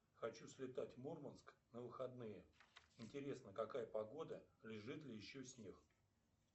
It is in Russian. хочу слетать в мурманск на выходные интересно какая погода лежит ли еще снег